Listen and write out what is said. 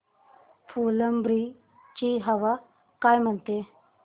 फुलंब्री ची हवा काय म्हणते